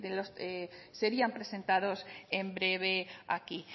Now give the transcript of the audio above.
serían presentados en breve aquí